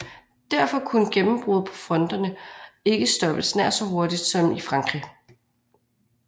Derfor kunne gennembrud på fronterne ikke stoppes nær så hurtigt som i Frankrig